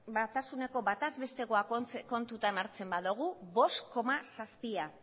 batasuneko bataz bestekoa kontutan hartzen badogu bost koma zazpia